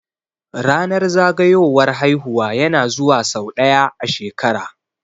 Ranar zagayowar haihuwa ya na zuwa sau ɗaya a shekara